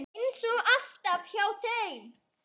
Eins og alltaf hjá þeim.